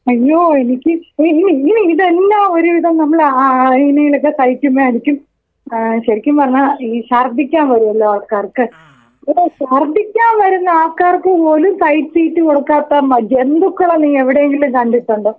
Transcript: അയ്യോ എനിക്ക് ഉം ഉം ഉം ഇതന്നെ ഒരു വിതം നമ്മൾ ആ ആ അയിനിലകം സഹിക്കുന്നതായിരിക്കും. ഏഹ് ശെരിക്കും പറഞ്ഞ ഈ ശർദിക്കാൻ വരോലോ ആൾക്കാർക്ക്. എടോ ശർദ്ദിക്കാൻ വരുന്ന ആൾക്കാർക്ക് പോലും സൈഡ് സീറ്റ് കൊടുക്കാത്ത മ ജന്തുക്കളെ നീ എവിടെയെങ്കിലും കണ്ടിട്ടുണ്ടോ?